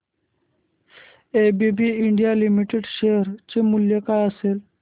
ABB India limited share चे मूल्य काय असेल